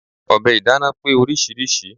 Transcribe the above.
Ọ̀bẹ ìdáná pé oríṣiríṣi.